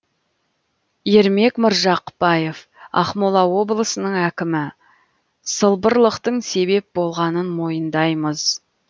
ермек маржықпаев ақмола облысының әкімі сылбырлықтың себеп болғанын мойындаймыз